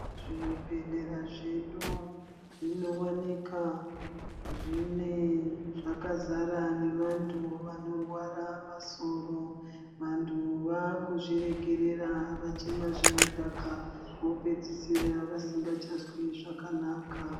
Zvibhedhlera zvedu zvinowanika zvine zvakazara nevantu vanorwara masoro. Vantu vakuzvirekerera vachimwa zvinodhaka vopedzisira vasingachazwi zvakanaka.